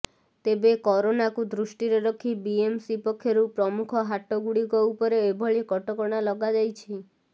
ତେବେ କରୋନାକୁ ଦୃଷ୍ଟିରେ ରଖି ବିଏମ୍ସି ପକ୍ଷରୁ ପ୍ରମୁଖ ହାଟ ଗୁଡ଼ିକ ଉପରେ ଏଭଳି କଟକଣା ଲଗାଯାଇଛି